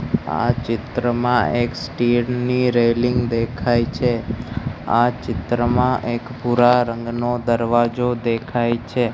આ ચિત્રમાં એક સ્ટીલ ની રેલીંગ દેખાય છે આ ચિત્રમાં એક ભૂરા રંગનો દરવાજો દેખાય છે.